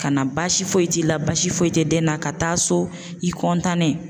Ka na baasi foyi t'i la baasi foyi tɛ den na ka taa so i